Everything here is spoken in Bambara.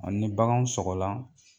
A ni baganw sɔrɔla